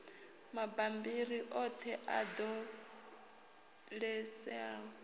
mabammbiri oṱhe a ṱo ḓeaho